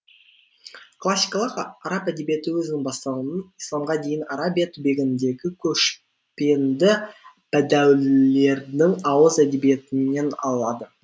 классикалық араб әдебиеті өзінің бастауын исламға дейінгі арабия түбегіндегі көшпенді бәдәуилердің ауыз әдебиетінен алады